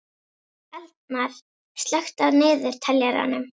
Eldmar, slökktu á niðurteljaranum.